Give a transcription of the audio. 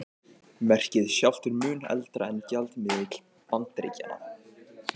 Merkið sjálft er mun eldra en gjaldmiðill Bandaríkjanna.